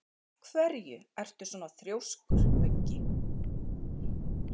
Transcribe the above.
Af hverju ertu svona þrjóskur, Muggi?